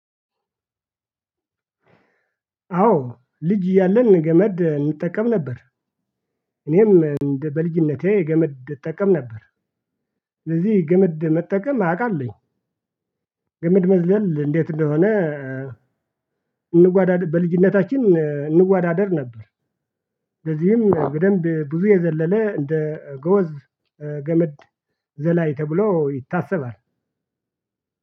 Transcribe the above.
አዎ ልጅ እያለን ገመድ እንጠቀም ነበር እኔም በልጅነቴ ገመድ እጠቀም ነበር። ስለዚህ ገመድ መጠቀም አውቃለሁኝ ገመድ መዝለል እንዴት እንደሆነ እንዋዳድ በልጅነታችን እንዋዳደር ነበር። ለዚህም በደንብ ብዙ የዘለለ እንደ ገወዝ ገመድ ዘላይ ተብሎ ይታሰባል።